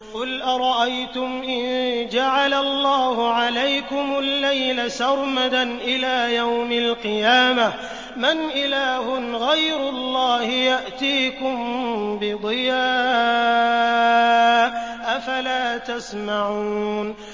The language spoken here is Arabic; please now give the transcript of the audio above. قُلْ أَرَأَيْتُمْ إِن جَعَلَ اللَّهُ عَلَيْكُمُ اللَّيْلَ سَرْمَدًا إِلَىٰ يَوْمِ الْقِيَامَةِ مَنْ إِلَٰهٌ غَيْرُ اللَّهِ يَأْتِيكُم بِضِيَاءٍ ۖ أَفَلَا تَسْمَعُونَ